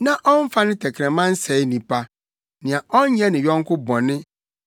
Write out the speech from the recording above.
na ɔmfa ne tɛkrɛma nsɛe nnipa nea ɔnyɛ ne yɔnko bɔne na ommu ne yɔnko nipa abomfiaa,